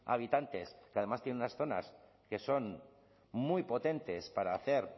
habitantes que además tiene unas zonas que son muy potentes para hacer